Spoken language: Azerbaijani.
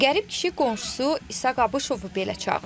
Qərib kişi qonşusu İsaq Abışovu belə çağırır.